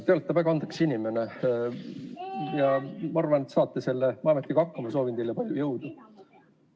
Te olete väga andekas inimene ja ma arvan, et saate selle ametiga hakkama, ja soovin teile palju jõudu!